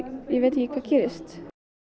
ég veit ekki hvað gerist